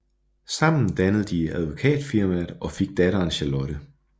Sammen dannede de et advokatfirmaet og fik datteren Charlotte